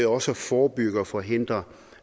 også at forebygge og forhindre